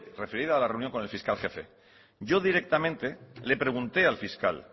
referida a la reunión con el fiscal jefe yo directamente le pregunté al fiscal